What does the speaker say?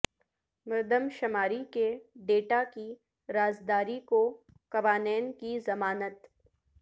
مردم شماری کے ڈیٹا کی رازداری کو قوانین کی ضمانت